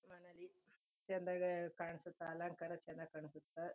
ಚನ್ನಾಗ್ ಕಾಣ್ಸುತ್ತೆ ಅಲಂಕಾರ ಚನ್ನಾಗ್ ಕಾಣ್ಸುತ್ತೆ.